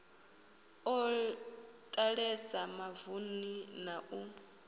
o ḓalesa mavuni na u